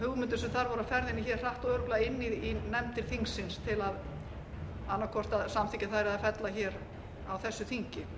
voru á ferðinni hratt og örugglega inn í nefndir þingsins til að annaðhvort samþykkja þær eða fella hér á þessu þingi